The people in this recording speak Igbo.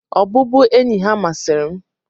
Ọbụbụenyi ha masịrị m.